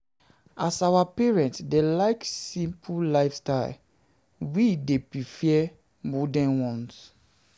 As our parents dem like simple lifestyle, like simple lifestyle, we dey prefer modern ones.